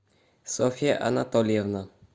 софья анатольевна